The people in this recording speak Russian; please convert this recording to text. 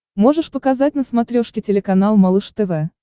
можешь показать на смотрешке телеканал малыш тв